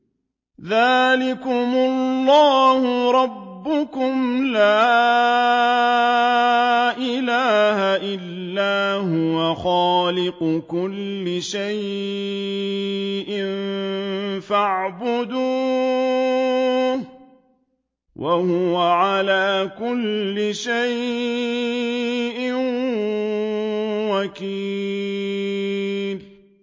ذَٰلِكُمُ اللَّهُ رَبُّكُمْ ۖ لَا إِلَٰهَ إِلَّا هُوَ ۖ خَالِقُ كُلِّ شَيْءٍ فَاعْبُدُوهُ ۚ وَهُوَ عَلَىٰ كُلِّ شَيْءٍ وَكِيلٌ